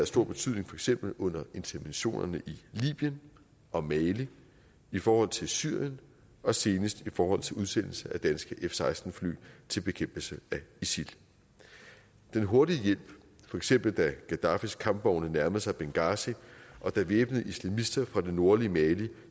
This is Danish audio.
stor betydning for eksempel under interventionerne i libyen og mali i forhold til syrien og senest i forhold til udsendelse af danske f seksten fly til bekæmpelse af isil den hurtige hjælp for eksempel da gaddafis kampvogne nærmede sig benghazi og da væbnede islamister fra det nordlige mali